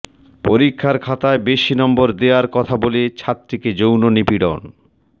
পরীক্ষার খাতায় বেশি নম্বর দেয়ার কথা বলে ছাত্রীকে যৌন নিপীড়ন